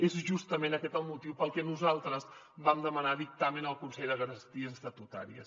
és justament aquest el motiu pel que nosaltres vam demanar dictamen al consell de garanties estatutàries